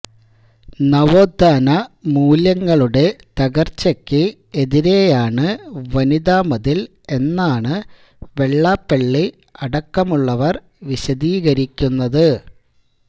നവോത്ഥാന മൂല്യങ്ങളുടെ തകർച്ചയ്ക്ക് എതിരെയാണ് വനിതാ മതിൽ എന്നാണ് വെള്ളാപ്പള്ളി അടക്കമുള്ളവർ വിശദീകരിക്കുന്നത്